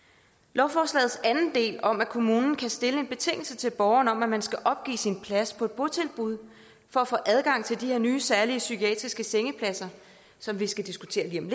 lovforslagets anden del om at kommunen kan stille en betingelse til borgeren om at man skal opgive sin plads på et botilbud for at få adgang til de her nye særlige psykiatriske sengepladser som vi skal diskutere lige om